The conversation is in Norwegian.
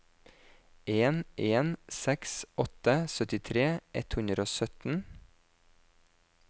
en en seks åtte syttifire ett hundre og sytten